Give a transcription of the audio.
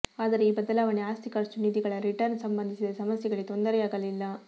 ಆದರೆ ಈ ಬದಲಾವಣೆ ಆಸ್ತಿ ಖರ್ಚು ನಿಧಿಗಳ ರಿಟರ್ನ್ ಸಂಬಂಧಿಸಿದ ಸಮಸ್ಯೆಗಳಿಗೆ ತೊಂದರೆಯಾಗಲಿಲ್ಲ